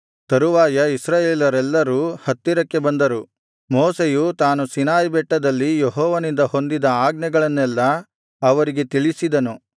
ತರುವಾಯ ಇಸ್ರಾಯೇಲರೆಲ್ಲರೂ ಹತ್ತಿರಕ್ಕೆ ಬಂದರು ಮೋಶೆಯು ತಾನು ಸೀನಾಯಿಬೆಟ್ಟದಲ್ಲಿ ಯೆಹೋವನಿಂದ ಹೊಂದಿದ ಆಜ್ಞೆಗಳನ್ನೆಲ್ಲಾ ಅವರಿಗೆ ತಿಳಿಸಿದನು